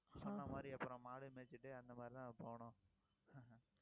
சொன்ன மாதிரி, அப்புறம் மாடு மேய்ச்சிட்டு அந்த மாதிரிதான் போகணும்